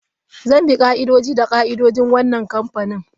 Zan bi ka'idoji da ka'idojin wannan kamfani.